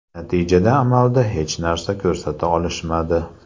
Natijada amalda hech narsa ko‘rsata olishmadi.